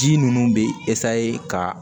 Ji ninnu bɛ ka